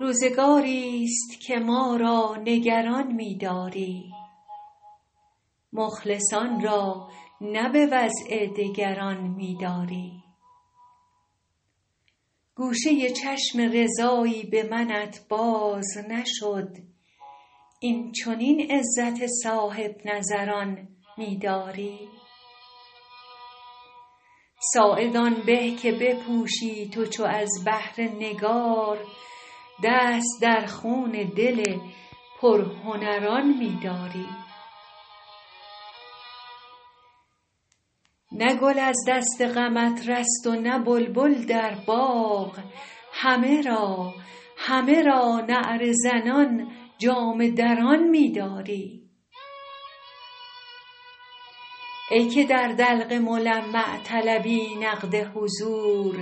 روزگاری ست که ما را نگران می داری مخلصان را نه به وضع دگران می داری گوشه چشم رضایی به منت باز نشد این چنین عزت صاحب نظران می داری ساعد آن به که بپوشی تو چو از بهر نگار دست در خون دل پرهنران می داری نه گل از دست غمت رست و نه بلبل در باغ همه را نعره زنان جامه دران می داری ای که در دلق ملمع طلبی نقد حضور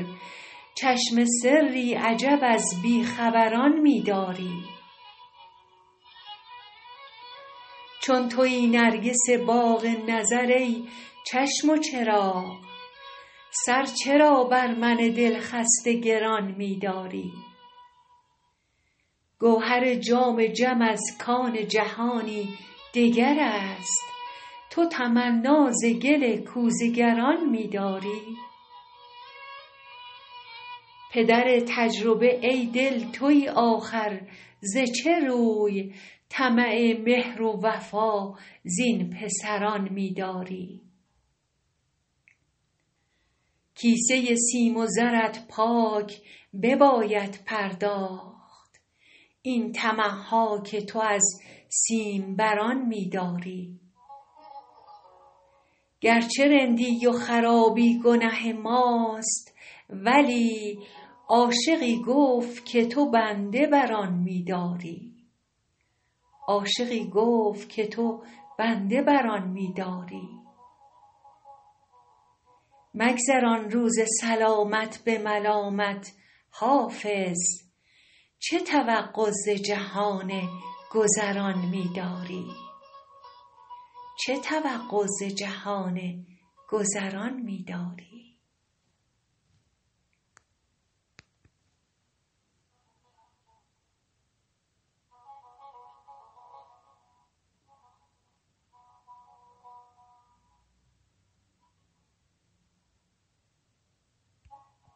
چشم سری عجب از بی خبران می داری چون تویی نرگس باغ نظر ای چشم و چراغ سر چرا بر من دل خسته گران می داری گوهر جام جم از کان جهانی دگر است تو تمنا ز گل کوزه گران می داری پدر تجربه ای دل تویی آخر ز چه روی طمع مهر و وفا زین پسران می داری کیسه سیم و زرت پاک بباید پرداخت این طمع ها که تو از سیم بران می داری گر چه رندی و خرابی گنه ماست ولی عاشقی گفت که تو بنده بر آن می داری مگذران روز سلامت به ملامت حافظ چه توقع ز جهان گذران می داری